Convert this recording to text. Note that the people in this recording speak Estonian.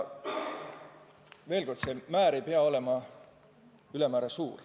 Veel kord: seegi määr ei pea olema väga suur.